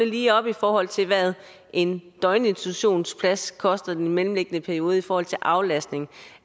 lige op i forhold til hvad en døgninstitutionsplads koster i den mellemliggende periode i forhold til aflastning